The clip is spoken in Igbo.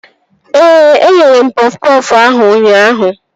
Ee, eghere m pọf pọfụ ahụ ụnyaahụ